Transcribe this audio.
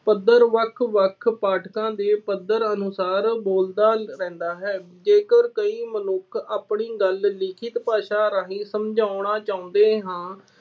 ਪੱਧਰ ਵੱਖ-ਵੱਖ ਪਾਠਕਾਂ ਦੇ ਪੱਧਰ ਅਨੁਸਾਰ ਬਦਲਦਾ ਰਹਿੰਦਾ ਹੈ। ਜੇਕਰ ਕਈ ਮਨੁੱਖ ਆਪਣੀ ਗੱਲ ਲਿਖਿਤ ਭਾਸ਼ਾ ਰਾਹੀਂ ਸਮਝਾਉਣਾ ਚਾਹੁੰਦੇ ਹਾ।